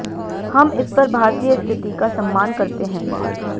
हम इस पर भारतीय स्थिति का सम्मान करते हैं